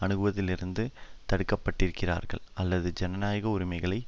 அணுகுவதிலிருந்து தடுக்கப்பட்டிருக்கிறார்கள் அல்லது ஜனநாயக உரிமைகளை